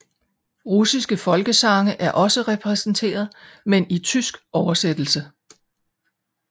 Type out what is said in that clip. Russiske folkesange er også repræsenteret men i tysk oversættelse